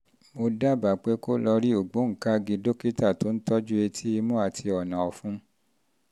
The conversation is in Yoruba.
mo dábàá pé kó o lọ rí ògbóǹkangí dókítà tó ń tọ́jú etí imú àti ọ̀nà-ọfùn